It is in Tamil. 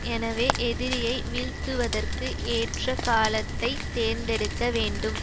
எனவே எதிரியை வீழ்த்துவதற்கு ஏற்ற காலத்தை தேர்ந்தெடுக்க வேண்டும்